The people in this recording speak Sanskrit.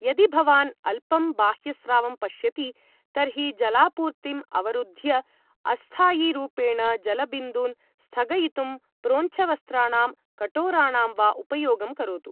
यदि भवान् अल्पं बाह्यस्रावं पश्यति तर्हि जlलापूर्तिं अवरुद्ध्य अस्थायीरूपेण जलबिन्दून् स्थगयितुं प्रोञ्छवस्त्राणां कटोराणां वा उपयोगं करोतु